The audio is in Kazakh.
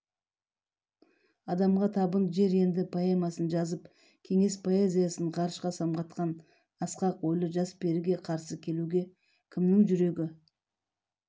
адамға табын жер енді поэмасын жазып кеңес поэзиясын ғарышқа самғатқан асқақ ойлы жас періге қарсы келуге кімнің жүрегі